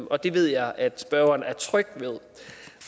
og det ved jeg at spørgeren er tryg ved